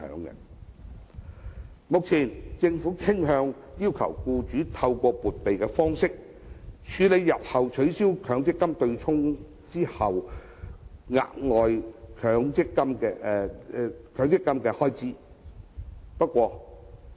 目前政府傾向要求僱主透過撥備的方式，處理日後取消強積金對沖後的額外強積金開支。